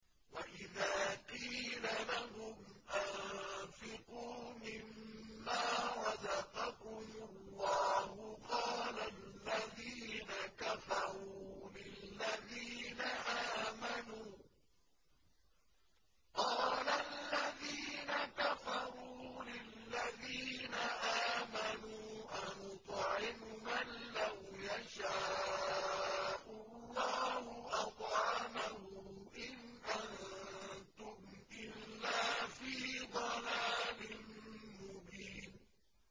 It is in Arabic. وَإِذَا قِيلَ لَهُمْ أَنفِقُوا مِمَّا رَزَقَكُمُ اللَّهُ قَالَ الَّذِينَ كَفَرُوا لِلَّذِينَ آمَنُوا أَنُطْعِمُ مَن لَّوْ يَشَاءُ اللَّهُ أَطْعَمَهُ إِنْ أَنتُمْ إِلَّا فِي ضَلَالٍ مُّبِينٍ